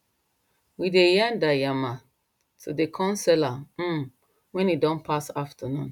we dey yarn da yamma to the corn seller um when e don pass afternoon